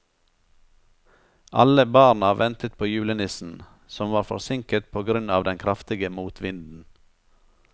Alle barna ventet på julenissen, som var forsinket på grunn av den kraftige motvinden.